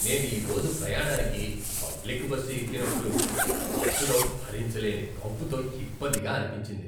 నేను ఈ రోజు ప్రయాణానికి పబ్లిక్ బస్సు ఎక్కినప్పుడు బస్సులో భరించలేని కంపుతో ఇబ్బందిగా అనిపించింది.